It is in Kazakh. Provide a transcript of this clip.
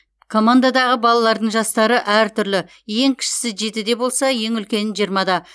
командадағы балалардың жастары әртүрлі ең кішісі жетіде болса ең үлкені жиырмада